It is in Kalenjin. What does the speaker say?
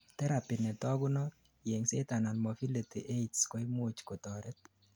therapy netogunot, yengset anan mobility aids koimuch kotoret